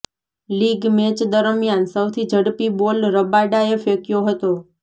league match દરમિયાન સૌથી ઝડપી બોલ રબાડાએ ફેંક્યો હતો